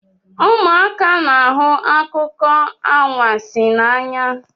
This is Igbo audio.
Ụmụaka na-ahụ akụkọ anwansi n'anya